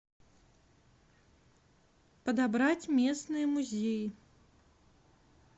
подобрать местные музеи